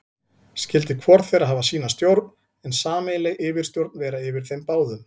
Skyldi hvor þeirra hafa sína stjórn, en sameiginleg yfirstjórn vera yfir þeim báðum.